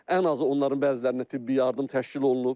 Ən azı onların bəzilərinə tibbi yardım təşkil olunub.